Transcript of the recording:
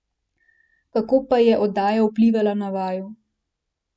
Kako pa je oddaja vplivala na vaju?